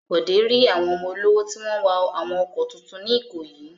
Bọ̀dé rí àwọn ọmọ olówó tí wọ́n ń wa àwọn ọkọ̀ tuntun ní Ìkòyí.